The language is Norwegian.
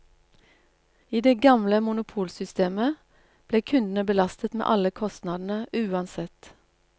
I det gamle monopolsystemet ble kundene belastet med alle kostnadene uansett.